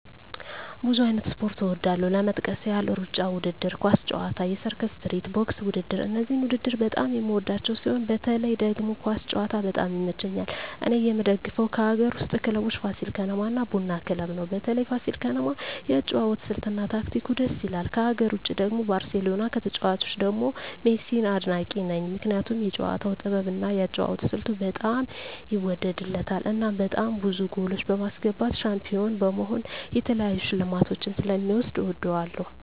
ብዙ አይነት ስፖርት እወዳለሁ ለመጥቀስ ያህል እሩጫ ውድድር፣ ኳስ ጨዋታ፣ የሰርከስ ትርኢት፣ ቦክስ ውድድር እነዚህን ውድድር በጣም የምወዳቸው ሲሆን በተለይ ደግሞ ኳስ ጨዋታ በጣም ይመቸኛል እኔ የምደግፈው ከአገር ውስጥ ክለቦች ፋሲል ከነማ እና ቡና ክለብ ነው በተለይ ፋሲል ከነማ የአጨዋወት ስልት እና ታክቲኩ ድስ ይላል ከሀገር ውጭ ደግሞ ባርሴሎና ከተጫዋቾቹ ደግሞ ሜሲን አድናቂ ነኝ ምክንያቱም የጨዋታው ጥበብ እና የአጨዋወት ስልቱ በጣም ይወደድለታል እናም በጣም ብዙ ጎሎች በማስገባት ሻንፒሆን በመሆን የተለያዩ ሽልማቶችን ስለ ሚወስድ እወደዋለሁ።